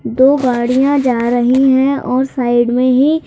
दो गाड़ियां जा रही है और साइड में ही--